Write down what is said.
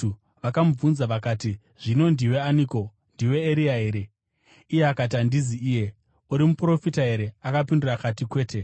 Vakamubvunza vakati, “Zvino ndiwe aniko? Ndiwe Eria here?” Iye akati, “Handizi iye.” “Uri muprofita here?” Akapindura akati, “Kwete.”